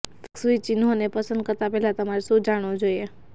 feng shui ચિહ્નોને પસંદ કરતા પહેલાં તમારે શું જાણવું જોઈએ